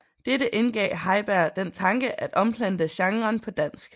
Dette indgav Heiberg den tanke at omplante genren på dansk